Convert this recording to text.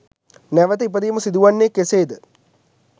නැවැත ඉපදීම සිදුවන්නේ කෙසේද?